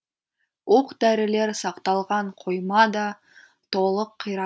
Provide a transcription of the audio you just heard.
оқ дәрілер сақталған қойма да толық қира